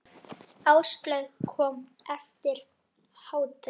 Áslaug kom eftir hádegi.